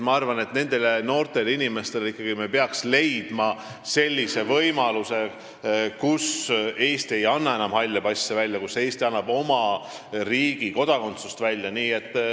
Ma arvan, et me peaksime leidma sellise võimaluse, et Eesti ei anna enam nendele noortele inimestele halle passe, vaid Eesti kodakondsuse.